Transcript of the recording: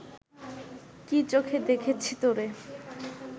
কি চোখে দেখেছি তোরে